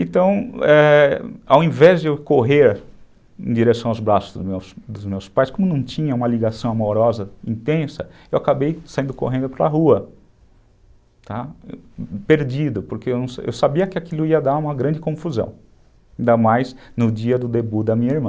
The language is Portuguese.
Então, é, ao invés de eu correr em direção aos braços dos meus pais, como não tinha uma ligação amorosa intensa, eu acabei saindo correndo para a rua, perdido, porque eu sabia que aquilo ia dar uma grande confusão, ainda mais no dia do debute da minha irmã.